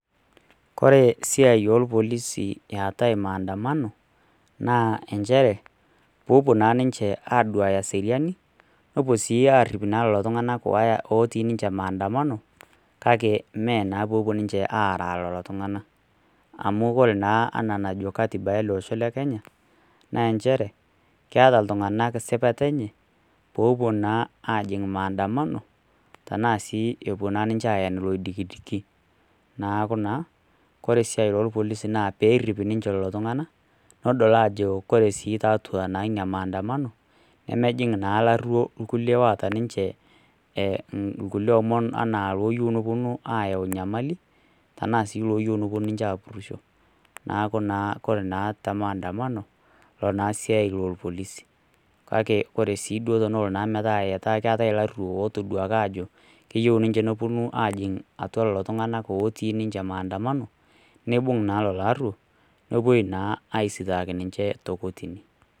Ore esiai orpolisin eetai maandamano naa inchere peepuo naa ninche aaduaya eseriani nepuo sii arrip lelo tung'anak ooti ninche maandamano kakee mee naa peepuo ninche aara lelo tung'anak amu ore naa enajo katiba ele osho le kenyanaa nchere keeta itung'anak sipata enye peepuo naa ajing' maandamano tenaa sii epuo naa ninche aen ilo oidikidiki neeku naa kore esiai oorpolisi naa peerrip ninche lelo tung'anak nedol ajo ore sii tiatu naa ina maandamano nemejing' naa ilarruo kulie oota ninche inkulie omon anaa ilooyiu ayau inyamali tenaa sii iloyiu neponu ninche aapurisho neeku naa ore naa te maandamano ina naa esiai orpolisi kake ore sii duo tenelo naa metaa keetae ilaruo ootaduaki ajo keyieu ninche neponu atua lelo tung'anak ooti ninche maandamano neibung' naa lelo arruwok nepuoi naa aisiitaaki ninche te kotini .